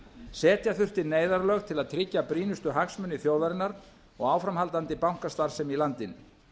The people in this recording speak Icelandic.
setja þurfti neyðarlög til að tryggja brýnustu hagsmuni þjóðarinnar og áframhaldandi bankastarfsemi í landinu